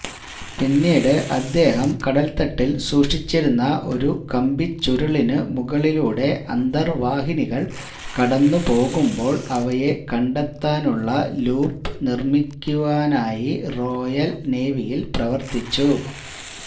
പിന്നീട് അദ്ദേഹം കടൽത്തട്ടിൽ സൂക്ഷിച്ചിരിക്കുന്ന ഒരു കമ്പിച്ചുരുളിനുമുകളിലൂടെ അന്തർവാഹിനികൾ കടന്നുപോകുമ്പോൾ അവയെ കണ്ടെത്താനുള്ള ലൂപ് നിർമ്മിക്കാനായി റോയൽ നേവിയിൽ പ്രവർത്തിച്ചു